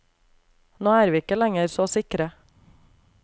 Nå er vi ikke lenger så sikre.